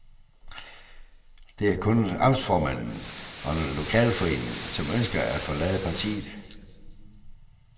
Det er kun amtsformanden og en lokalforening, som ønsker at forlade partiet.